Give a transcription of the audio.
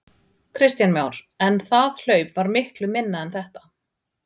Kristján Már: En það hlaup var miklu minna en þetta?